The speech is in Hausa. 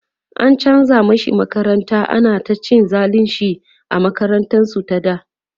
an chanza mashi makaranta, ana ta cin zalinshi a makarantar su ta da